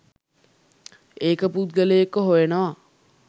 ඒක පුද්ගලයෙක්ව හොයනවා.